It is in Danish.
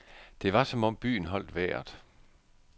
Det var som om byen holdt vejret.